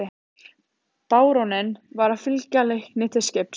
Baróninn var að fylgja Leikni til skips.